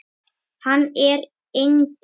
Hann er engill.